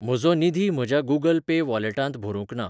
म्हजो निधी म्हज्या गूगल पे वॉलेटांत भरूंक ना.